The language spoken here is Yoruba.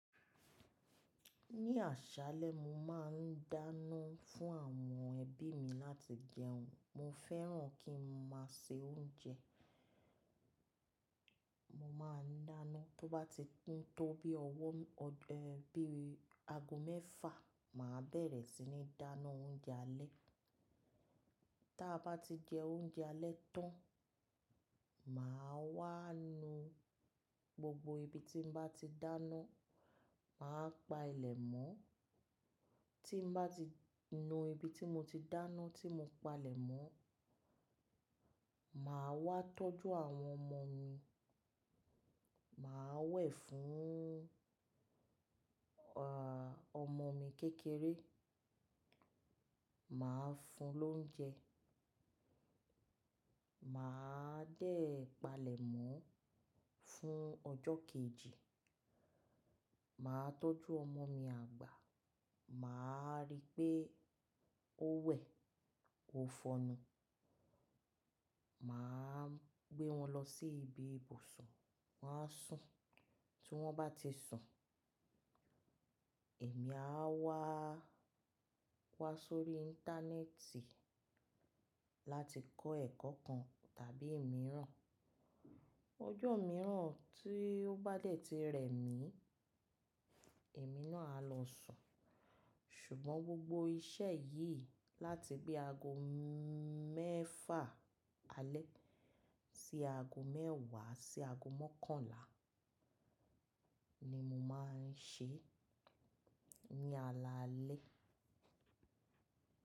Ní àṣálẹ́ mo má a n dáná fún àwọn ẹbí mi láti jẹun. Mo fẹ́ràn kí n má a se oúnjẹ. Mo má a n dáná tó bá ti tún tó bí i ọwọ́, ẹ́, bí i ago mẹ́fà, mà á bẹ̀rẹ̀ sí ní dáná oúnjẹ alẹ́. Táa bá ti jẹ oúnjẹ alẹ́ tán, mà á wá nu gbogbo ibi tí n bá ti dáná, mà á pa ilẹ̀ mọ́. Tí n bá ti nu ibi tí mo ti dáná tí mo pa ilẹ̀ mọ́, mà á wá tọ́jú àwọn ọmọ mi. Mà á wẹ̀ fún, ọmọ mi kékeré, mà á fún un l'oúnjẹ. Mà á dè palẹ̀ mọ́ fún ọjọ́ kejì, mà á tọ́jú ọmọ mi àgbà, mà á rí pé ó wẹ̀, ó fọn'nú, mà á gbé wọn lọ sí ibi ibùsùn, wọ́n á sùn. Tí wọ́n bá ti sùn, èmi á wá pa sórí íńtánẹ́ẹ̀tì láti kọ́ ẹ̀kọ́ kan tàbí mìíràn. Ọjọ́ mìíràn tí ó bá dẹ̀ ti rẹ̀ mí, èmi náà á lọ sùn. Ṣùgbọ́n gbogbo iṣẹ́ yìí láti gbé ago mẹ́fà alẹ́ sí ago mẹ́wàá sí ago mọ́kànlá ni mo má a n ṣe ní alaalẹ́.